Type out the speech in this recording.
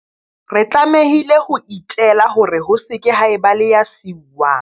Re tlamehile ho itela hore ho se ke ha eba le ya siuwang.